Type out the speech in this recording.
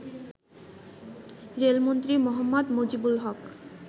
রেলমন্ত্রী মোঃ মুজিবুল হক